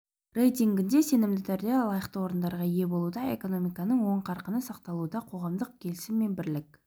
рейтингінде сенімді түрде лайықты орындарға ие болуда экономиканың оң қарқыны сақталуда қоғамдық келісім мен бірлік